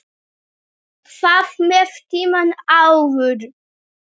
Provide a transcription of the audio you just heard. Hvað með tímann áður?